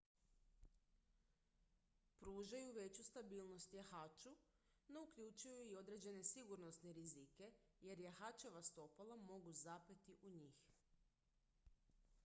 pružaju veću stabilnost jahaču no uključuju i određene sigurnosne rizike jer jahačeva stopala mogu zapeti u njih